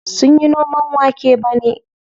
Sunyi noman wake bane.